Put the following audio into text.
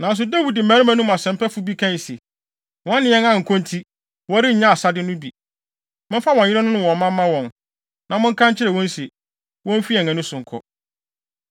Nanso Dawid mmarima no mu asɛmpɛfo bi kae se, “Wɔne yɛn ankɔ nti, wɔrennya asade no bi. Momfa wɔn yerenom ne wɔn mma mma wɔn, na monka nkyerɛ wɔn se, womfi yɛn ani so nkɔ.”